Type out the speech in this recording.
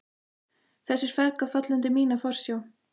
Þessir feðgar falla undir mína forsjá!